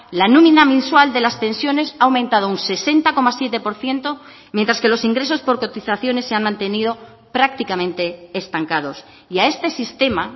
la nómina mensual de las pensiones ha aumentado un sesenta coma siete por ciento mientras que los ingresos por cotizaciones se han mantenido prácticamente estancados y a este sistema